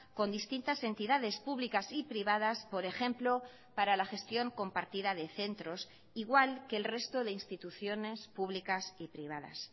con distintas entidades públicas y privadas por ejemplo para la gestión compartida de centros igual que el resto de instituciones públicas y privadas